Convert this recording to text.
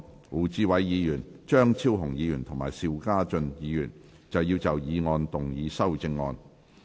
胡志偉議員、張超雄議員及邵家臻議員要就議案動議修正案。